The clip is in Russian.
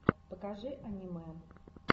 покажи аниме